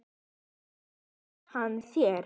Bauð hann þér?